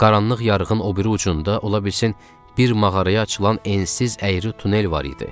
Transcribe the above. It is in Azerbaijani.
Qaranlıq yarığın o biri ucunda ola bilsin bir mağaraya açılan ensiz əyri tunel var idi.